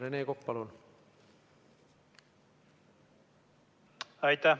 Rene Kokk, palun!